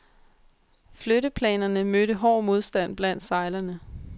Flytteplanerne mødte hård modstand blandt sejlerne.